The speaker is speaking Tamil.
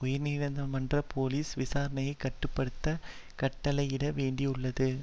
உயர்நீதிமன்றம் போலீஸ் விசாரணையை கட்டு படுத்த கட்டளையிட வேண்டியுள்ளது